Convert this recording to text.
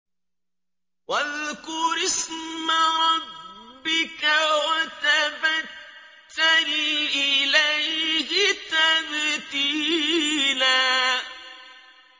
وَاذْكُرِ اسْمَ رَبِّكَ وَتَبَتَّلْ إِلَيْهِ تَبْتِيلًا